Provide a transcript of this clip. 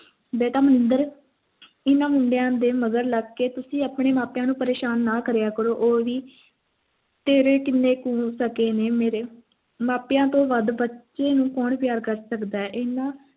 ਬੇਟਾ ਮਨਿੰਦਰ ਇਨ੍ਹਾਂ ਮੁੰਡਿਆਂ ਦੇ ਮਗਰ ਲੱਗ ਕੇ ਤੁਸੀਂ ਆਪਣੇ ਮਾਂ-ਪਿਉ ਨੂੰ ਪ੍ਰੇਸ਼ਾਨ ਨਾ ਕਰਿਆ ਕਰੋ ਉਹ ਵੀ ਤੇਰੇ ਕਿੰਨੇ ਕੁ ਮੇਗੇ ਨੇ ਮੇਰੇ ਮਾਪਿਆਂ ਤੋਂ ਵੱਧ ਬੱਚਿਆਂ ਨੂੰ ਕੌਣ ਪਿਆਰ ਕਰ ਸਕਦਾ ਹੈ ਏਨ੍ਹਾਂ